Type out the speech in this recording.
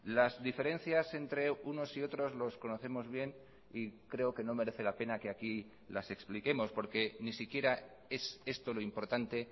las diferencias entre unos y otros los conocemos bien y creo que no merece la pena que aquí las expliquemos porque ni siquiera es esto lo importante